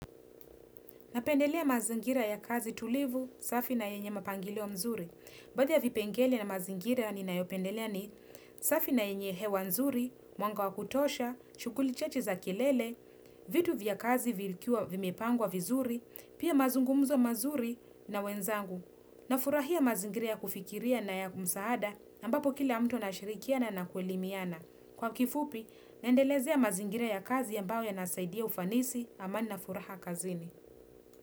Napendelea mazingira ya kazi tulivu, safi na yenye mapangilio mzuri. Baadhi ya vipengele na mazingira ninayopendelea ni safi na yenye hewa mzuri, mwanga wa kutosha, shughuli chache za kelele, vitu vya kazi vikiwa vimepangwa vizuri, pia mazungumzo mazuri na wenzangu. Nafurahia mazingira ya kufikiria na ya msaada, ambapo kila mtu anashirikiana na kuelimiana. Kwa kifupi, naendelezea mazingira ya kazi ambayo yanasaidia ufanisi, amani na furaha kazini.